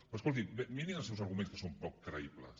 però escoltin mirin els seus arguments que són poc creïbles